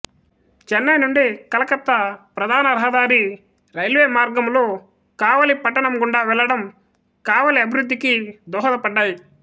చెన్నై నుంచి కలకత్తా ప్రధాన రహదారి రైల్వే మార్గములు కావలి పట్టణం గుండా వెళ్ళడం కావలి అభివృద్ధికి దోహదపడ్డాయి